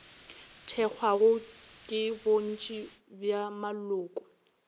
thekgwago ke bontši bja maloko